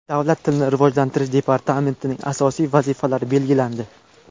Davlat tilini rivojlantirish departamentining asosiy vazifalari belgilandi.